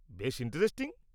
বেশ ইন্টারেস্টিং!